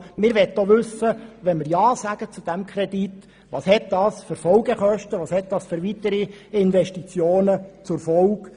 Bevor wir über 100 Mio. Franken bewilligen und ja zu diesem Kredit sagen, möchten wir wissen, welches die zu erwartenden Folgekosten und weiteren Investitionen sind.